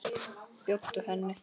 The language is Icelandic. Bjóddu henni.